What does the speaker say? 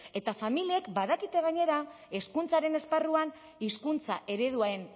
eta familiek badakite gainera hezkuntzaren esparruan hizkuntza ereduen